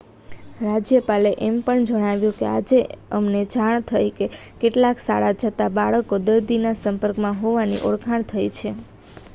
"રાજ્યપાલે એમ પણ જણાવ્યું કે "આજે અમને જાણ થઇ કે કેટલાક શાળા જતા બાળકો દર્દીના સંપર્કમાં હોવાની ઓળખાણ થઇ છે"".